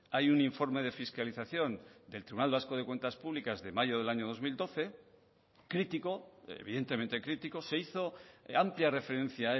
hay un informe de fiscalización del tribunal vasco de cuentas públicas de mayo del año dos mil doce crítico evidentemente crítico se hizo amplia referencia a